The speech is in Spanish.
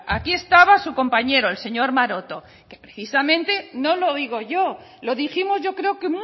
aquí estaba su compañero el señor maroto que precisamente no lo digo yo lo dijimos yo creo que